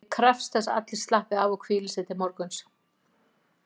Ég krefst þess að allir slappi af og hvíli sig til morguns.